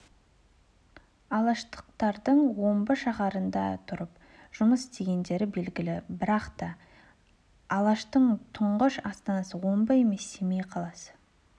алаштықтардың омбы шаһарында тұрып жұмыс істегендері белгілі бірақ та алаштың тұңғыш астанасы омбы емес семей қаласы